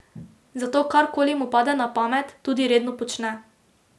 Zato karkoli mu pade na pamet, tudi redno počne.